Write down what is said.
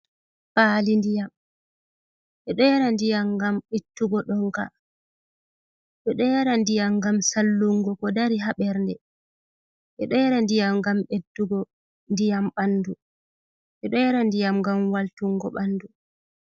Paali ndiyam edo yara ndiyam ngam ittuugo ɗonka, edo yara ndiyam ngam sallungo ko dari ha bernde, edo yara ndiyam ngam ɓeddugo ndiyam bandu, edo yara ndiyam ngam waltungo bandu.